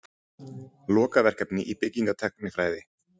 Lokaverkefni í byggingartæknifræði.